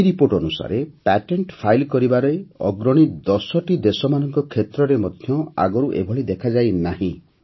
ଏହି ରିପୋର୍ଟ ଅନୁସାରେ patent file କରିବାରେ ଅଗ୍ରଣୀ ୧୦ଟି ଦେଶମାନଙ୍କ କ୍ଷେତ୍ରରେ ମଧ୍ୟ ଆଗରୁ ଏଭଳି ଦେଖାଯାଇନାହିଁ